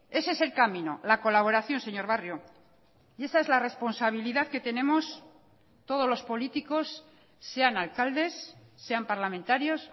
ese es el camino la colaboración señor barrio y esa es la responsabilidad que tenemos todos los políticos sean alcaldes sean parlamentarios